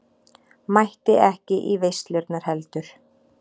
Mætti ekki í veislurnar heldur.